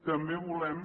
també volem